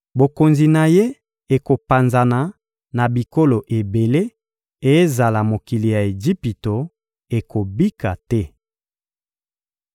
Bokonzi na ye ekopanzana na bikolo ebele, ezala mokili ya Ejipito ekobika te.